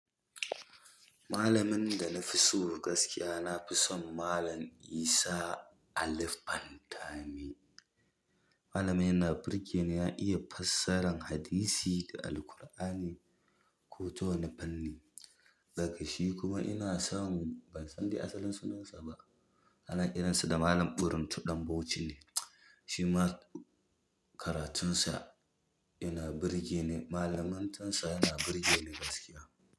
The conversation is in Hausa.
Malamin da na fi so gaskiya, na fi son Malam Isah Ali Fantami. Malami na birge ni, ya iya fassarar hadisi da Alkur'ani, ko ta wane fanni, daga shi kuma ina son ban san da asalin sunan sa ba. Hana irinsa da Malam ɓuruntu Ɗan Bauchi ne. Shi ma karatun sa ina birge ni. Malaman tasa ina birge ni gaskiya.